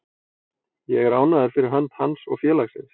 Ég er ánægður fyrir hönd hans og félagsins.